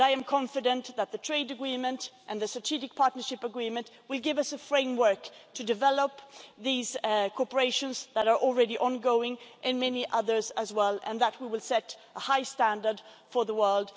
I am confident that the trade agreement and the strategic partnership agreement will give us a framework for developing areas of cooperation that are already ongoing, and many others as well, and that we will set a high standard for the world.